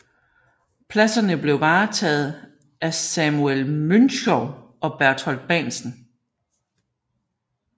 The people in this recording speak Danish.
Pladserne blev varetaget af Samuel Münchow og Berthold Bahnsen